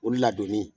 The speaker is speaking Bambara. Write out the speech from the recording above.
Olu ladonni